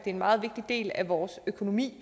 en meget vigtig del af vores økonomi